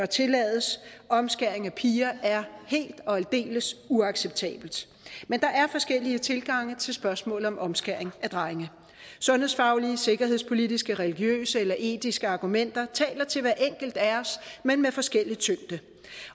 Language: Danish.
tillades omskæring af piger er helt og aldeles uacceptabelt men der er forskellige tilgange til spørgsmålet om omskæring af drenge sundhedsfaglige sikkerhedspolitiske religiøse eller etiske argumenter taler til hver enkelt af os men med forskellig tyngde